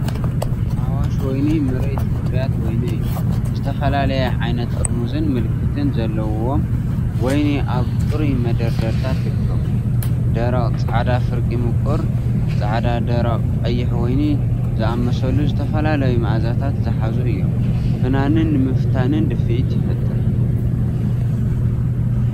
ኣዋሽ ወይኒ ምርኢት ፍርያት ወይኒ እዩ። ዝተፈላለየ ዓይነት ጥርሙዝን ምልክትን ዘለዎም ወይኒ ኣብ ጽሩይ መደርደሪታት ይርከቡ። ደረቕ ጻዕዳ ፍርቂ ምቁር ጻዕዳደረቕ ቀይሕ ወይኒ ዝኣመሰሉ ዝተፈላለዩ መኣዛታት ዝሓዙ እዮም። ፍናንን ንምፍታን ድፍኢትን ይፈጥር።